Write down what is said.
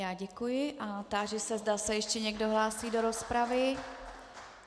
Já děkuji a táži se, zda se ještě někdo hlásí do rozpravy.